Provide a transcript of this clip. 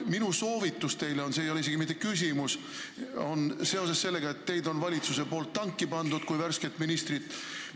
Minu soovitus teile – see ei ole mitte küsimus – on seoses sellega, et valitsus on teid kui värsket ministrit tanki pannud.